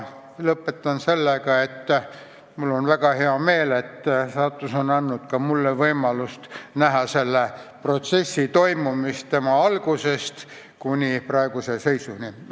Lõpetan sellega, et mul on väga hea meel, et saatus on andnud ka mulle võimaluse näha selle protsessi toimumist tema algusest kuni praeguse seisuni.